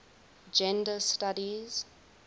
gender studies